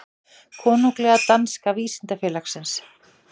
Konunglega danska vísindafélagsins.